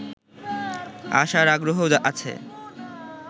আসার আগ্রহ আছে